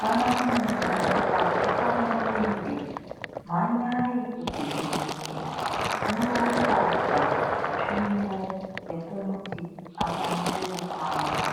Kana munhu akaguka murenje mhanyayi kuchibhedhlera munotsvaga tsvimbo yekumuti akwanise kufamba.